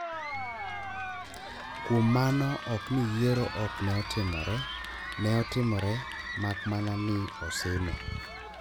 kuom mano ok ni yiero ok ne otimore, neotimore mak mana ni osime